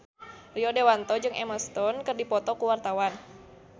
Rio Dewanto jeung Emma Stone keur dipoto ku wartawan